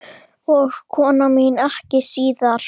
Og kona mín ekki síður.